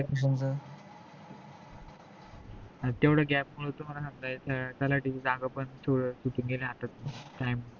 हो न तेवढ gap मध्ये थांबता येत नाही तलाठ्याची जागा पण सुटून गेली हातातून